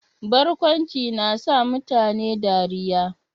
Barkwanci na sa mutane dariyya.